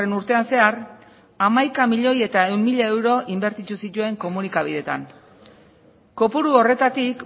urtean zehar hamaika milioi ehun mila euro inbertitu zituen komunikabideetan kopuru horretatik